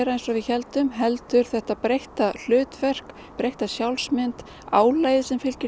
eins og við héldum heldur þetta breytta hlutverk breytta sjálfsmynd álagið sem fylgir